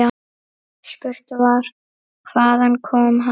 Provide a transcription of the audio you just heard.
Spurt var: Hvaðan kom hann.